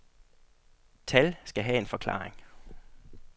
Tal skal have en forklaring.